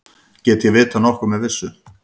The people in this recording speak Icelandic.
Get ég vitað nokkuð með vissu?